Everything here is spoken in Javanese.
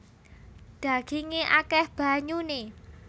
Dhagingé akèh banyuné